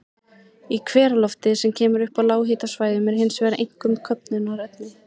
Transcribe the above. Í hveralofti, sem kemur upp á lághitasvæðunum, er hins vegar einkum köfnunarefni.